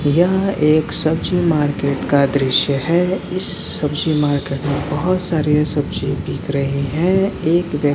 यह एक सब्जी मार्केट का दृश्य है इस सब्जी मार्केट में बहुत सारे सब्जी बिक रहे हैं एक व्यक --